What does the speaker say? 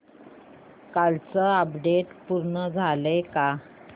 कालचं अपडेट पूर्ण झालंय का